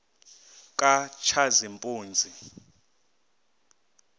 katshazimpuzi